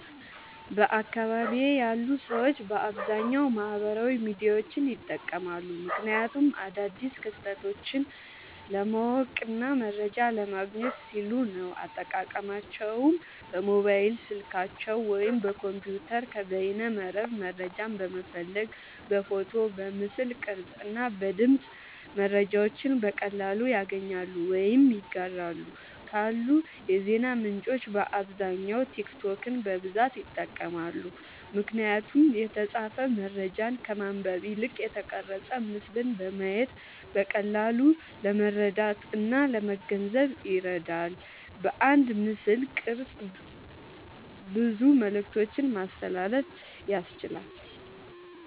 በአካባቢየ ያሉ ሰዎች በአብዛኛዉ ማህበራዊ ሚዲያዎችን ይጠቀማሉ። ምክንያቱም አዳዲስ ክስተቶችን ለማወቅና መረጃ ለማግኘት ሲሉ ነዉ። አጠቃቀማቸዉም በሞባይል ስልካቸዉ ወይም በኮምፒዉተር ከበይነመረብ መረጃን በመፈለግ በፎቶ፣ በምስል ቅርጽ እና በድምጽ መረጃዎችን በቀላሉ ያገኛሉ ወይም ያጋራሉ። ካሉ የዜና ምንጮች በአብዛኛዉ ቲክቶክን በብዛት ይጠቀማሉ። ምክንያቱም የተጻፈ መረጃን ከማንበብ ይልቅ የተቀረጸ ምስልን በማየት በቀላሉ ለመረዳትእና ለመገንዘብ ይረዳል። በአንድ ምስልቅርጽ ብዙ መልክቶችን ማስተላለፍ ያስችላል።